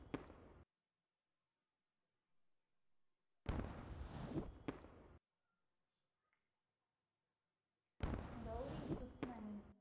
Gowri Sukhmani